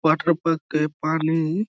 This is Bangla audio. ওয়াটার পার্ক - এ পানি-ই --